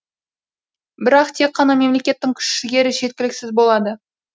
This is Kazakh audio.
бірақ тек қана мемлекеттің күш жігері жеткіліксіз болады